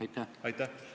Aitäh!